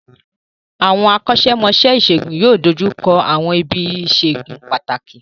Àwọn akọ́ṣẹ́mọṣẹ́ ìṣègùn yóò dojú kọ àwọn ibi ìṣègùn pàtàkì